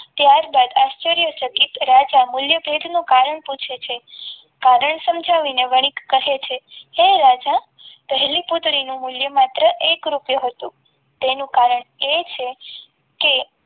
ત્યારબાદ આશ્ચર્યચકિત રાજા મૂલ્ય ભેટ નું કારણ પૂછે છે કારણ સમજાવીને વણિક કહે છે હે રાજા પહેલી પુત્રીનું મૂલ્ય માત્ર એક રૂપિયું હતું તેનું કારણ એ છે કે